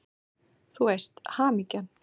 Þú veist: Hamingjan!